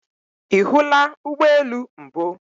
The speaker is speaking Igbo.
Ihula Ugbo elu mbu?